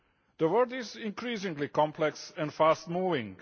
The world is increasingly complex and fast moving.